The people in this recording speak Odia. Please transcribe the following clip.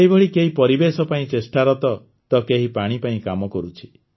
ସେହିଭଳି କେହି ପରିବେଶ ପାଇଁ ଚେଷ୍ଟାରତ ତ କେହି ପାଣି ପାଇଁ କାମ କରୁଛି